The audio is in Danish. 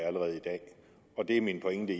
og det er min pointe